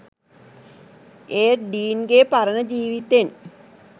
ඒත් ඩීන්ගෙ පරණ ජීවිතෙන්